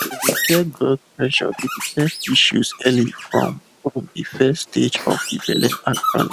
to dey check blood pressure dey detect issues early from um de first stage of de belle actually